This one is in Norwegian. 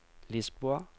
Lisboa